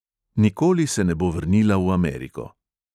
Nikoli se ne bo vrnila v ameriko.